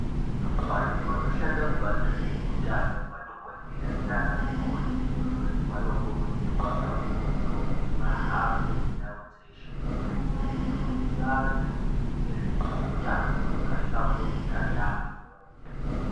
Vantu vanoshanda kubazi rezveutano madhokodheya nana mukoti vanokurudzirwa kakurutu kuti vahambe ndau dzeshe veifundisa vantu ngezve kutano hwakahlamburika yaamho.